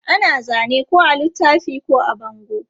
Ana zane ko a littafi ko a bango.